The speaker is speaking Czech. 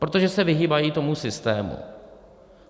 Protože se vyhýbají tomu systému.